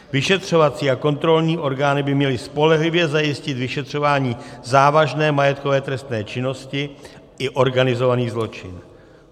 Vyšetřovací a kontrolní orgány by měly spolehlivě zajistit vyšetřování závažné majetkové trestné činnosti i organizovaný zločin.